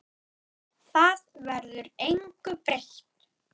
Þar verður engu breytt.